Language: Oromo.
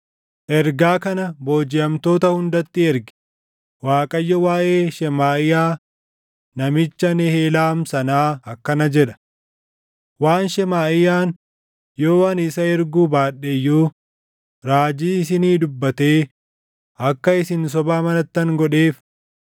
“Ergaa kana boojiʼamtoota hundatti ergi; ‘ Waaqayyo waaʼee Shemaaʼiyaa namicha Nehelaam sanaa akkana jedha: Waan Shemaaʼiyaan yoo ani isa erguu baadhe iyyuu raajii isinii dubbatee akka isin soba amanattan godheef